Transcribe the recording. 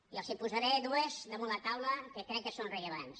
i els en posaré dues damunt la taula que crec que són rellevants